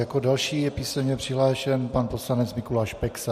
Jako další je písemně přihlášen pan poslanec Mikuláš Peksa.